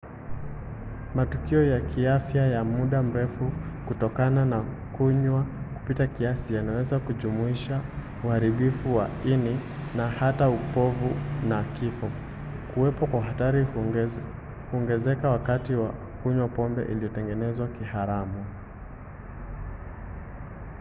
matukio ya kiafya ya muda mrefu kutokana na kunywa kupita kiasi yanaweza kujumuisha uharibifu wa ini na hata upofu na kifo. kuwepo kwa hatari huongezeka wakati wa kunywa pombe iliyotengenezwa kiharamu